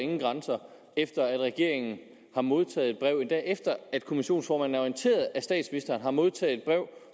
nogen grænser efter at regeringen har modtaget et brev endda efter at kommissionsformanden er orienteret og statsministeren har modtaget et brev